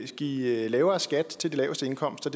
give lavere skat til de laveste indkomster